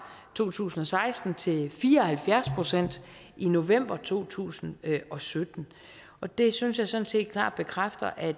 to tusind og seksten til fire og halvfjerds procent i november to tusind og sytten og det synes jeg sådan set klart bekræfter at